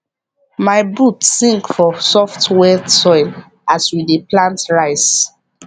my boot sink for soft wet soil as we dey plant rice